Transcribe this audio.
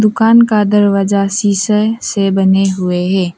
दुकान का दरवाजा शीशे से बने हुए हैं।